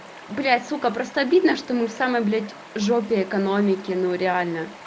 блять сука просто обидно что мы в самой блять жопе экономики ну реально